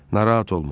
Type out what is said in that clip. Narahat olma.